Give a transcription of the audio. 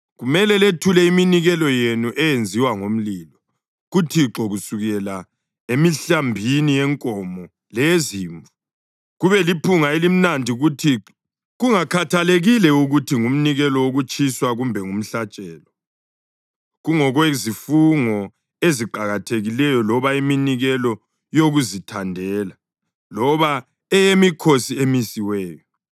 kumele lethule iminikelo yenu eyenziwa ngomlilo kuThixo, kusukela emihlambini yenkomo leyezimvu, kube liphunga elimnandi kuThixo, kungakhathalekile ukuthi ngumnikelo wokutshiswa kumbe ngumhlatshelo, kungokwezifungo eziqakathekileyo loba iminikelo yokuzithandela loba eyemikhosi emisiweyo,